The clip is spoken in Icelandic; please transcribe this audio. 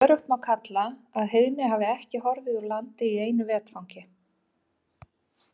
Öruggt má kalla að heiðni hafi ekki horfið úr landi í einu vetfangi.